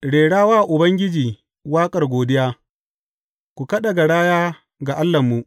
Rera wa Ubangiji waƙar godiya; ku kada garaya ga Allahnmu.